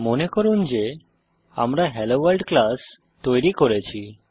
মনে করুন যে আমরা হেলোভোর্ল্ড ক্লাস তৈরি করেছি